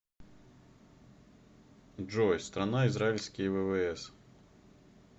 джой страна израильские ввс